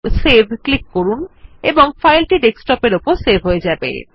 save click করুন এবং ফাইলটি ডেস্কটপ এর উপর সেভ হয়ে যাবে